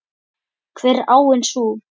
Hver er áin sú?